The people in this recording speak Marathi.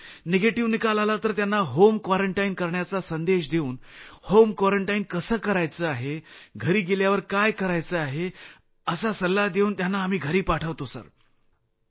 निगेटिव्ह निकाल आला तर त्यांना होम क्वारंटाईन करण्याचा संदेश देऊन होम क्वारंटाईन कसं करायचं आहे घरी गेल्यावर काय करायचं आहे असा सल्ला देऊन त्यांना आम्ही घरी पाठवत आहोत